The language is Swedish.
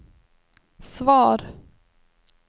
svar